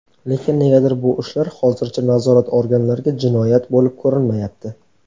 Lekin negadir bu ishlar hozircha nazorat organlariga jinoyat bo‘lib ko‘rinmayapti.